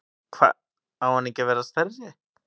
Hva, á hann ekki að vera stærri?